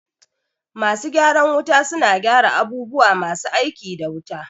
Masu gyaran wuta suna gyara abubuwa masu aiki da wuta